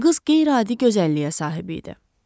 Qız qeyri-adi gözəlliyə sahib idi.